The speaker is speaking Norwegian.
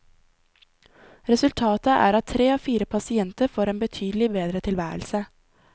Resultatet er at tre av fire pasienter får en betydelig bedre tilværelse.